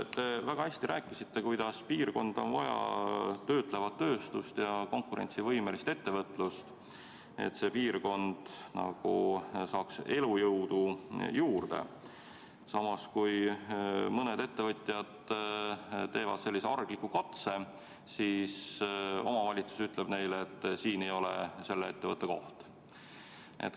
Te väga hästi rääkisite, et piirkonda on vaja töötlevat tööstust ja konkurentsivõimelist ettevõtlust, et see piirkond saaks elujõudu juurde, aga samas kui mõned ettevõtjad teevad sellise argliku katse, siis omavalitsus ütleb neile, et siin ei ole selle ettevõtte koht.